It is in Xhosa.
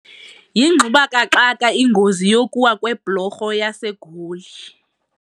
Yingxubakaxaka ingozi yokuwa kweblorho yaseGoli.